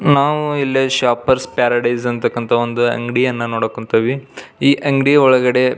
ನಾವು ಇಲ್ಲೇ shoppers paradise ಅನ್ನತಕ್ಕಂಥ ಒಂದು ಅಂಗಡಿಯನ್ನು ನೋಡಕ್ ಹೊಂಥಿವಿ ಈ ಅಂಗಡಿಯ ಒಳಗಡೆ --